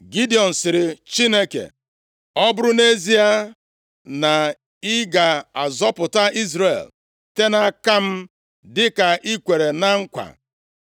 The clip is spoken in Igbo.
Gidiọn sịrị Chineke, “Ọ bụrụ nʼezie na ị ga-azọpụta Izrel site nʼaka m dịka i kwere na nkwa,